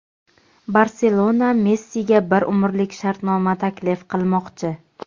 "Barselona" Messiga bir umrlik shartnoma taklif qilmoqchi.